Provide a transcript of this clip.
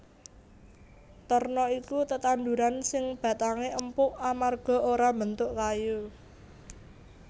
Terna iku tetanduran sing batangé empuk amarga ora mbentuk kayu